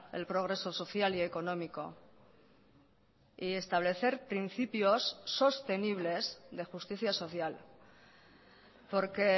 el progreso social y económico y establecer principios sostenibles de justicia social porque